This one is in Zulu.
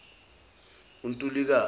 untulukazi